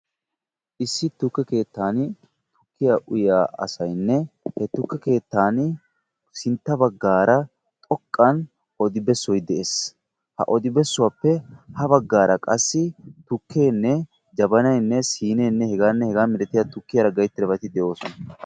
issi tukke keettan tukkiya uyiya asayinne ha tukke keettan sintta baggaara odi bessoy de'es. ha odi bessuwappe ha baggaara qassi tukkeenne jabanayinne siineenne hegaanne hegaa malatiya tukkiyaara gayittidabati de'oosona.